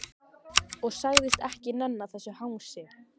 Og sagðist ekki nenna þessu hangsi.